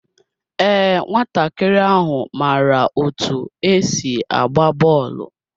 Ee, nwatakịrị ahụ maara otú e si agba bọọlụ.